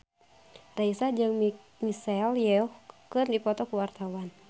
Raisa jeung Michelle Yeoh keur dipoto ku wartawan